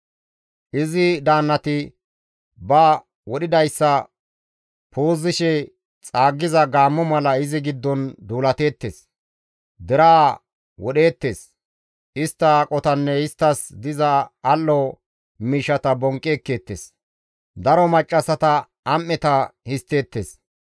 Izi daannati ba wodhidayssa puuzishe xaaggiza gaammo mala izi giddon duulateettes; deraa wodheettes; istta aqotanne isttas diza al7o miishshata bonqqi ekkeettes; daro maccassata am7eta histteettes.